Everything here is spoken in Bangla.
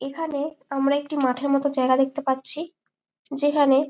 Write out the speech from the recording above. এখানে আমরা একটি মাঠের মত জায়গা দেখতে পারছি যেখানে --